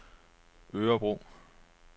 Örebro